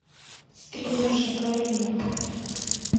стримерша карина